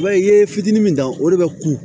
I b'a ye i ye fitiinin min dan o de bɛ ku